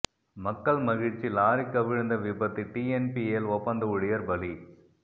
மக்கள் மகிழ்ச்சி லாரி கவிழ்ந்த விபத்து டிஎன்பிஎல் ஒப்பந்த ஊழியர் பலி